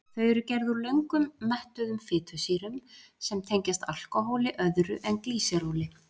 Þau eru gerð úr löngum mettuðum fitusýrum sem tengjast alkóhóli öðru en glýseróli.